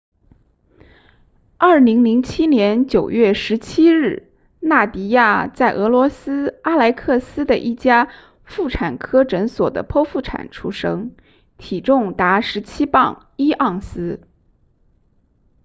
2007年9月17日纳迪亚在俄罗斯阿莱克斯的一家妇产科诊所的剖腹产出生体重达17磅1盎司